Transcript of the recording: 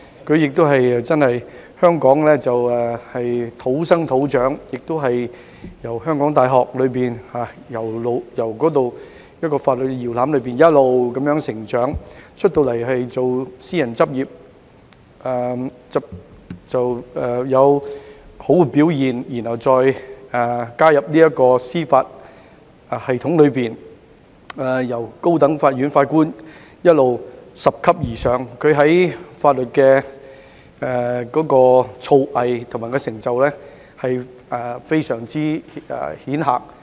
他在香港土生土長，從香港大學這個法律搖籃一直成長，在私人執業時亦有良好表現，然後加入司法系統，由高等法院法官一直拾級而上，在法律的造詣及成就非常顯赫。